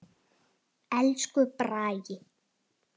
Elsku Bragi.